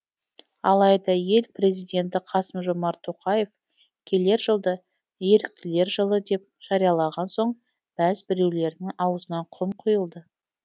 алайда ел президенті қасым жомарт тоқаев келер жылды еріктілер жылы деп жариялаған соң бәз біреулердің аузына құм құйылды